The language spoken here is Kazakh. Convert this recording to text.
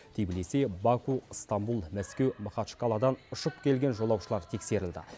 тбилиси баку ыстамбұл мәскеу махачкаладан ұшып келген жолаушылар тексерілді